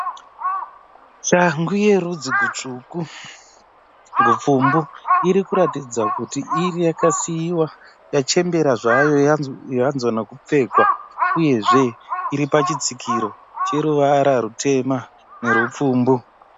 Shangu yerudzi gutsvuku, rubvumbu irikuratidza kuti iri yakasiiwa yachembera zvayo yanzwa nekupfekwa. Uyezve iri pachitsikiro cheruvara rwutema nerwubvumbu.